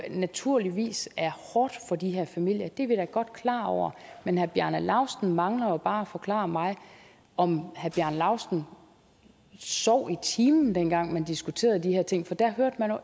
naturligvis er hårdt for de her familier det er vi da godt klar over men herre bjarne laustsen mangler bare at forklare mig om herre bjarne laustsen sov i timen dengang man diskuterede de her ting for da hørte man